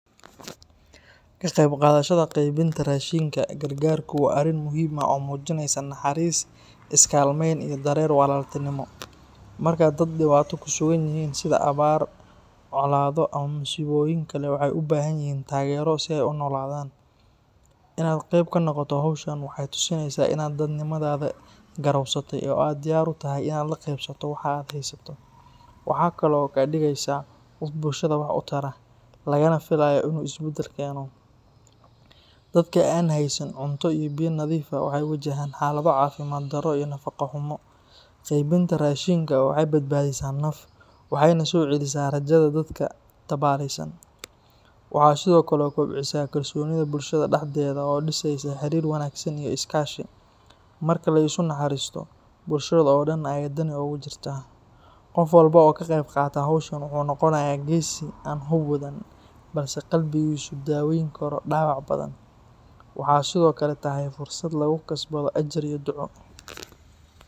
Ka qaybqaadashada qaybinta raashinka gargaarku waa arrin muhiim ah oo muujinaysa naxariis, is-kaalmayn iyo dareen walaaltinimo. Marka dad dhibaato ku sugan yihiin sida abaar, colaado ama masiibooyin kale, waxay u baahan yihiin taageero si ay u noolaadaan. Inaad qayb ka noqoto hawshan waxay tusinaysaa in aad dadnimadaada garowsatay oo aad diyaar u tahay inaad la qeybsato waxa aad haysato. Waxay kaloo kaa dhigaysaa qof bulshada wax u tara, lagana filayo in uu isbedel keeno. Dadka aan haysan cunto iyo biyo nadiif ah waxay wajahaan xaalado caafimaad darro iyo nafaqo xumo. Qaybinta raashinku waxay badbaadisaa naf, waxayna soo celisaa rajada dadka tabaaleysan. Waxay sidoo kale kobcisaa kalsoonida bulshada dhexdeeda oo dhisaysa xiriir wanaagsan iyo iskaashi. Marka la isu naxariisto, bulshada oo dhan ayay dani ugu jirtaa. Qof walba oo ka qayb qaata hawshan wuxuu noqonayaa geesi aan hub wadan, balse qalbigiisu daweyn karo dhaawac badan. Waxay sidoo kale tahay fursad lagu kasbado ajar iyo duco.